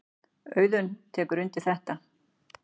Auðunn tekur undir þetta.